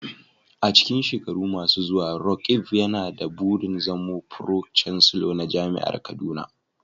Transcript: A cikin shekaru masu zuwa, Roqeeb yana da burin zama Pro-Chancellor na Jami'ar Kaduna.